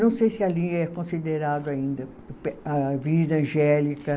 Não sei se ali é considerado ainda pe, a Avenida Angélica.